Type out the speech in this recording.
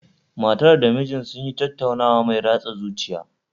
Matar da mijin sun yi tattaunawa mai ratsa zuciya